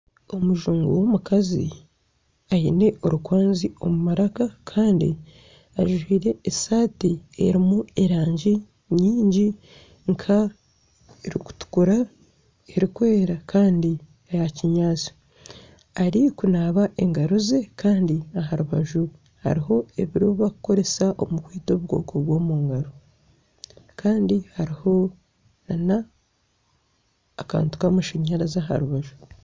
Omujungu w'omukazi aine orukwanzi omumaraka Kandi ajwire esaati erimu erangi nyingi nka erikutukura, erikweera kandi n'eyakinyaatsi. Arikunaaba engaro ze kandi aha rubaju hariho ebi barikukoresa okwita obukooko bw'omungaro kandi hariho n'akantu kamashanyarazi aha rubaju.